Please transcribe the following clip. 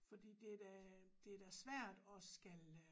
Fordi det da det da svært og skal